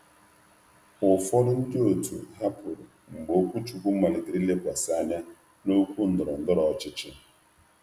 Ụfọdụ ndị otu hapụrụ mgbe okwuchukwu malitere ilekwasị anya na okwu ndọrọ ndọrọ ọchịchị.